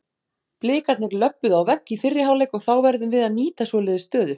Blikarnir löbbuðu á vegg í fyrri hálfleik og þá verðum við að nýta svoleiðis stöðu.